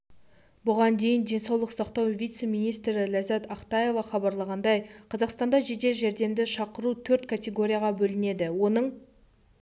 бұған дейін денсаулық сақтау вице-министрі ләззәт ақтаева хабарлағандай қазақстанда жедел жәрдемді шақыру төрт категорияға бөлінеді оның